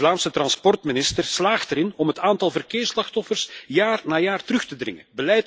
De Vlaamse transportminister slaagt erin om het aantal verkeersslachtoffers jaar na jaar terug te dringen.